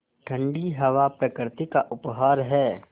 ठण्डी हवा प्रकृति का उपहार है